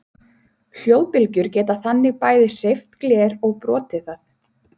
Hljóðbylgjur geta þannig bæði hreyft gler og brotið það!